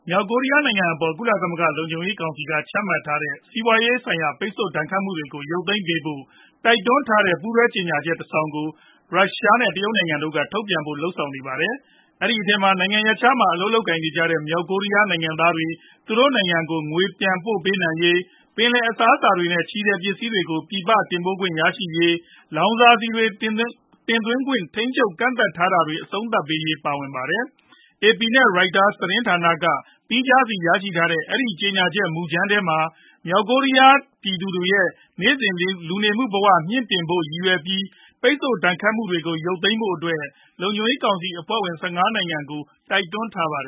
မြောက်ကိုရီးယားနိုင်ငံအပေါ် ကုလသမဂ္ဂလုံခြုံရေးကောင်စီ က ချမှတ်ထားတဲ့ စီးပွားရေးဆိုင်ရာပိတ်ဆို့ဒဏ်ခတ်မှုတွေကို ရုပ်သိမ်းပေးဖို့တိုက်တွန်းတဲ့ ပူးတွဲကြေညာချက်တဆောင်ကို ရုရှား နဲ့ တရုတ်နိုင်ငံတို့က ထုတ်ပြန်ဖို့လုပ်ဆောင်နေပါတယ်။ အဲဒီအထဲမှာ နိုင်ငံရပ်ခြားမှာ အလုပ်လုပ်ကိုင်နေကြတဲ့ မြောက်ကိုးရီယားနိုင်ငံသားတွေ သူတို့နိုင်ငံကို ငွေပြန်ပို့ပေးနိုင်ရေး၊ ပင်လယ်အစားအစာတွေ နဲ့ ချည်ထည်ပစ္စည်းတွေကို ပြည်ပတင်ပို့ခွင့်ရရှိရေး၊ လောင်စာဆီတွေတင်သွင်းခွင့် ထိန်းချုပ်ကန့်သတ်ထားတာတွေ အဆုံးသတ်ရေးတို့ပါဝင်ကြပါတယ်။ AP နဲ့ Reuters သတင်းဌာတို့က သီးခြားစီရရှိထားကြတဲ့ အဲဒီ ကြေညာချက်မှုကြမ်းထဲမှာ မြောက်ကိုရီးယားပြည်သူတွေရဲ့ နေ့စဉ်လူနေမှုဘဝတွေ မြှင့်တင်ဖို့ရည်ရွယ်ပြီး ပိတ်ဆို့ဒဏ်ခတ်မှုတွေကို ရုပ်သိမ်းပေးဖို့အတွက် လုံခြုံရေးကောင်စီအဖွဲ့ဝင် ၁၅နိုင်ငံကို တိုက်တွန်းထားပါတ